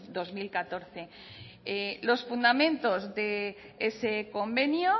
dos mil catorce los fundamentos de ese convenio